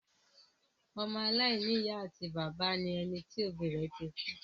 Ọmọ aláìní ìyá àti bàbá ni ẹni tí òbí rẹ ti kú.